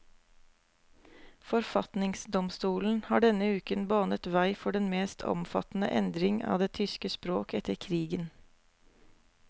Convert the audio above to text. Forfatningsdomstolen har denne uken banet vei for den mest omfattende endring av det tyske språk etter krigen.